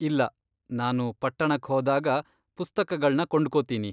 ಇಲ್ಲ, ನಾನು ಪಟ್ಟಣಕ್ ಹೋದಾಗ ಪುಸ್ತಕಗಳ್ನ ಕೊಂಡ್ಕೊತೀನಿ.